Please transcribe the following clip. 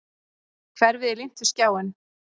Hverfið er límt við skjáinn.